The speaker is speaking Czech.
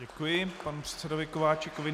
Děkuji panu předsedovi Kováčikovi.